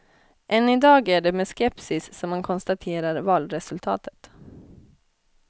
Än idag är det med skepsis som man konstaterar valresultatet.